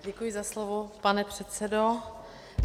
Děkuji za slovo, pane předsedo.